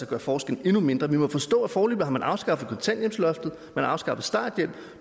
gøre forskellen endnu mindre vi må forstå at man foreløbig har afskaffet kontanthjælpsloftet man har afskaffet starthjælpen